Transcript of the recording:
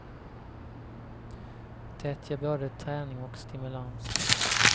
Det ger både träning och stimulans.